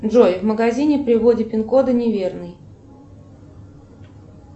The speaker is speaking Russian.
джой в магазине при вводе пин кода не верный